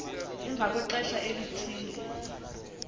emva kwexesha elithile